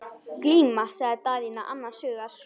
Glíma, sagði Daðína annars hugar.